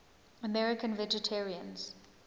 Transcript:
american vegetarians